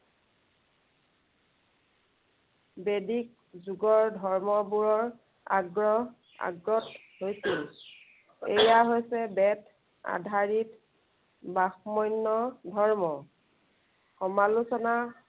বৈদিক যুগৰ, ধৰ্মবোৰৰ আগ্ৰহ, আগত হৈছিল। এইয়া হৈছে বেদ আধাৰিত, ব্ৰাহ্মণ্য় ধৰ্ম। সমালোচনা